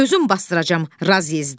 Özün basdıracam Razyezdə.